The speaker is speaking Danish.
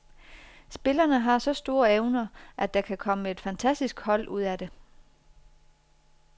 Spillerne har så store evner, at der kan komme et fantastisk hold ud af det.